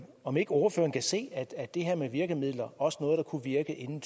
om ikke ordføreren kan se at at det her med virkemidler også noget der kunne virke inden